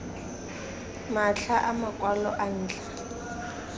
matlha a makwalo a ntlha